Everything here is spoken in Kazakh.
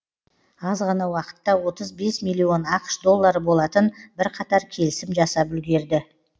аз ғана уақытта отыз бес миллион ақш доллары болатын бірқатар келісім жасап үлгерді